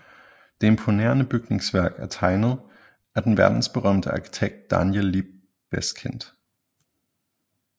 Det imponerende bygningsværk er tegnet af den verdensberømte arkitekt Daniel Liebeskind